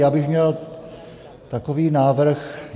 Já bych měl takový návrh.